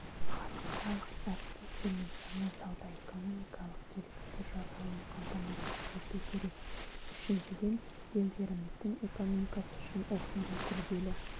халықаралық әріптестермен жаңа сауда-экономикалық келісімдер жасалуын қамтамасыз ету керек үшіншіден елдеріміздің экономикасы үшін осындай күрделі